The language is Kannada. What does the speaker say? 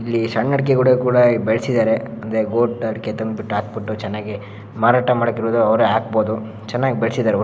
ಇಲ್ಲಿ ಸಣ್ಣ ಅಡಿಕೆ ಕೂಡ ಬೆಳೆಸಿದ್ದಾರೆ ಅಂದ್ರೆ ಗೋಟ್ ಅಡಿಕೆ ತಂದ್ಬಿಟ್ಟು ಹಾಕ್ ಬಿಟ್ಟು ಚೆನ್ನಾಗಿ ಮಾರಾಟ ಮಾಡಾಕೆ ಅವರೇ ಹಾಕ್ಬೋದು ಚೆನ್ನಾಗಿ ಬೆಳೆಸಿದ್ದಾರೆ ಒಟ್ಟು.